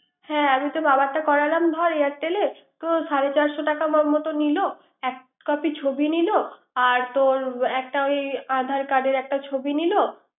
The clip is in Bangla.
হ্যা আমি তো বাবারটা করালাম airtel এ। সাড়ে চারশ র টাকার মত নিলো, এক কপি ছবি নিল, আর তোর আদার কার্ডের একটা ছবি নিল।